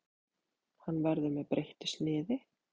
Hann verður með breyttu sniði.